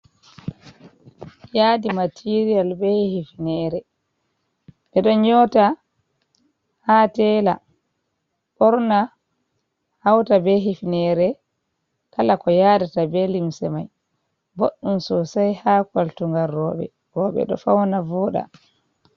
Yaadi mateeriyal, be hifneere, ɓe ɗon nyoota ha teela, ɓorna hawta be hifneere kala ko yaadata be limse mai. Boɗɗum soosai ha koltungal rooɓe, rooɓe ɗo fawna vooɗa.